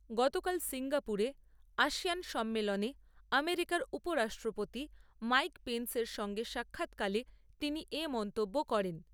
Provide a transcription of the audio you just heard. গতকাল সিঙ্গাপুরে আশিয়ান সম্মেলনে আমেরিকার উপরাষ্ট্রপতি মাইক পেনস এর সঙ্গে সাক্ষাৎকালে তিনি এ মন্তব্য করেন।